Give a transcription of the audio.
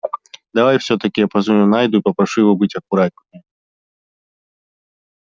давай всё-таки я позвоню найду и попрошу его быть аккуратнее